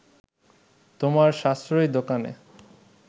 তোমার সাশ্রয়ী দোকানে